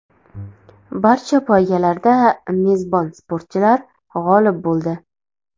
Barcha poygalarda mezbon sportchilar g‘olib bo‘ldi.